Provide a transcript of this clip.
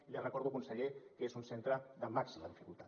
i li recordo conseller que és un centre de màxima dificultat